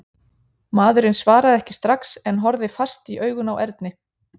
Maðurinn svaraði ekki strax en horfði fast í augun á Erni.